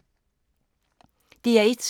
DR1